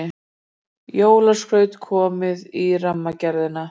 Jólaskraut komið í Rammagerðina